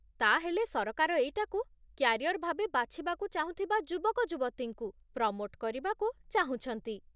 ତା'ହେଲେ ସରକାର ଏଇଟାକୁ କ୍ୟାରିୟର୍ ଭାବେ ବାଛିବାକୁ ଚାହୁଁଥିବା ଯୁବକଯୁବତୀଙ୍କୁ ପ୍ରମୋଟ୍ କରିବାକୁ ଚାହୁଁଛନ୍ତି ।